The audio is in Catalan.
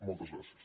moltes gràcies